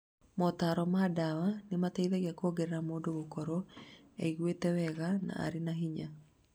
Motaro ma dawa nĩ mateithagia kuongerera mũndũ gũkorwo eiguĩte wega, na arĩ na hinya.